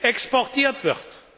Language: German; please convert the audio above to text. exportiert wird.